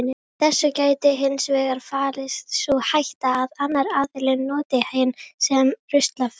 Í þessu getur hins vegar falist sú hætta að annar aðilinn noti hinn sem ruslafötu.